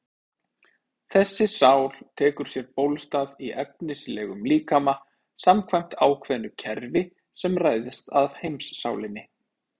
Þessi sál tekur sér bólstað í efnislegum líkama samkvæmt ákveðnu kerfi sem ræðst af heimssálinni.